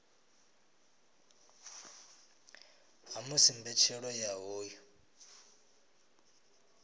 ha musi mbetshelo ya hoyu